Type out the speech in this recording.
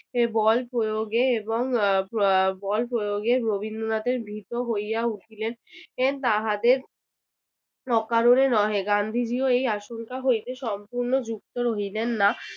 সেই বল প্রয়োগে এবং আহ বল প্রয়োগে রবীন্দ্রনাথের ভীত হইয়া উঠিলেন তাহাদের অকারণে নহে গান্ধিজীও এই আসংকা হইতে সম্পূর্ণ যুক্ত রহিলেন না